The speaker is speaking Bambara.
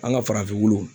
An ka farafinnunw